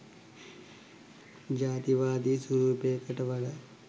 ජාතිවාදී ස්වරූපයකට වඩා